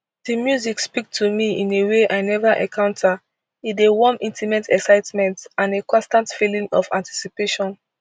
di music speak to me in a way i neva encounter e dey warm intimate excitement and a constant feeling of anticipation